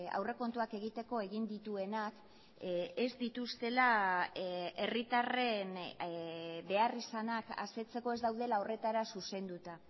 aurrekontuak egiteko egin dituenak ez dituztela herritarren beharrizanak asetzeko ez daudela horretara zuzenduta